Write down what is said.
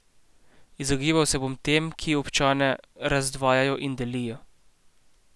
Izogibal se bom tem, ki občane razdvajajo in delijo.